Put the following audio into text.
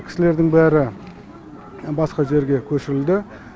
кісілердің бәрі басқа жерге көшірілді